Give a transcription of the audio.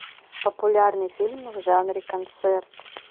популярный фильм в жанре концерт